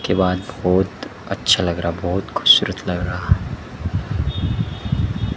के बाद बहोत अच्छा लग रहा बहोत खूबसूरत लग रहा--